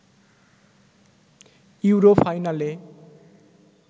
euro ফাইনালে